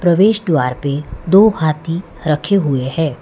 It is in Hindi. प्रवेश द्वार पे दो हाथी रखे हुए हैं।